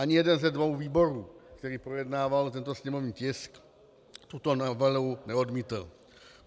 Ani jeden ze dvou výborů, který projednával tento sněmovní tisk, tuto novelu neodmítl.